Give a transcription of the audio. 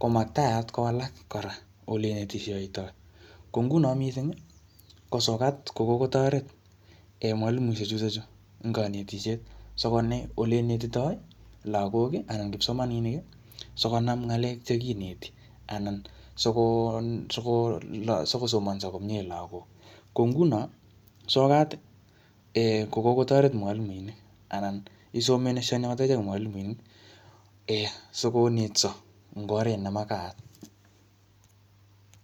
ko maktaat kowalak kora ole inetishoitoi. Ko nguno missing, ko sokat ko kokotoret en mwalimuisiek chutochu ing kanetisiet. Sikonet ole inetitoi lagok anan kipsomaninik, sikonam ngalek che kineti, anan sikosomanso komyee lagok. Ko nguno sokat, um ko kotoret mwalimuinik, anan isomeshane akot achek mwalimuinik um sikonetso eng oret ne makaat.